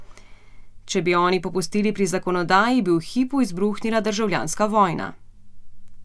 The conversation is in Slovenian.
Če bi oni popustili pri zakonodaji, bi v hipu izbruhnila državljanska vojna!